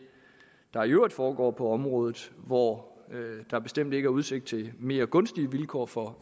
der i øvrigt foregår på området hvor der bestemt ikke er udsigt til mere gunstige vilkår for